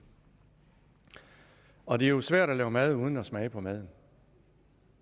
og det er jo svært at lave mad uden at smage på maden